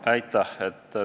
Aitäh!